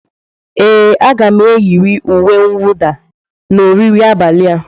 Ee, m ga-eyiri uwe mwụda na oriri abalị a.